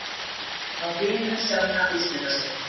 Spá Vinum Sjonna úrslitasæti